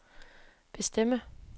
bestemme